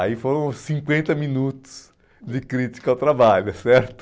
Aí foram cinquenta minutos de crítica ao trabalho, certo?